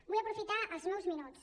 vull aprofitar els meus minuts